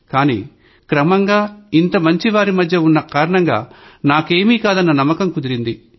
కాని క్రమంగా ఇంతమంది మంచివాళ్ల మధ్య ఉన్న కారణంగా నాకేమీ కాదన్న నమ్మకం కుదిరింది